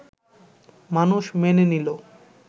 মানুষ মেনে নিল